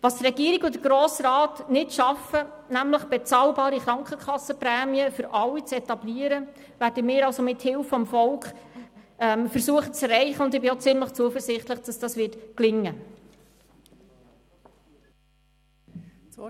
Was der Regierungsrat und der Grosse Rat nicht schaffen, nämlich bezahlbare Krankenkassenprämien für alle zu etablieren, werden wir also mit Hilfe des Volkes zu erreichen versuchen, und ich bin auch ziemlich zuversichtlich, dass das gelingen wird.